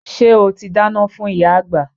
Ṣé o ti dáná fún ìyá àgbà?